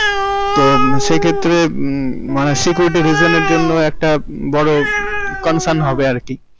তো সে ক্ষেত্রে মম মানে security reason এর জন্য একটা মম বড় concern হবে আর কি.